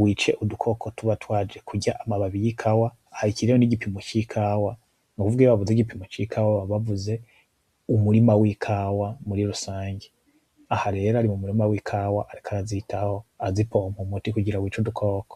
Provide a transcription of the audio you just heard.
wice udukoko tuba twaje kurya amababi yikawa aha kiriho nigipimo cikawa, nukuvuga iyo baba bavuze igipimo cikawa baba bavuze umurima wikawa muri rusange, aha rero ari mumurima wikawa ariko arazitaho azipompa umuti kugira yice udukoko.